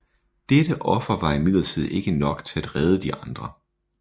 Dette offer var imidlertid ikke nok til at redde de andre